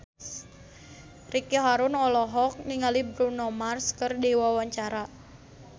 Ricky Harun olohok ningali Bruno Mars keur diwawancara